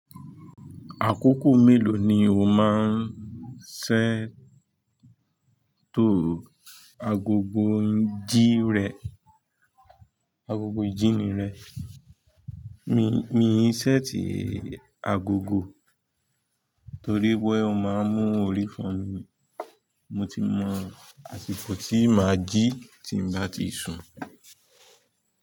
Àkókò mélòó ni o máa ń ṣẹ́ tò agogo jí rẹ, agogo ìjíni rẹ? Mii n ṣẹ́eti agogo torí pe o máa ń mú orí fo mi. Mo ti mọ àsìkò tí màá jí tí m bá ti sun.